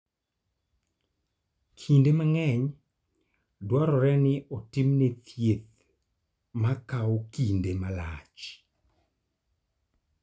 Kinde mang�eny, dwarore ni otimne thieth ma kawo kinde malach.